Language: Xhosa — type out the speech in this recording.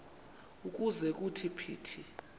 ukuze kuthi phithi